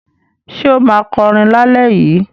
Ṣé ó máa kọrin lálẹ́ yìí?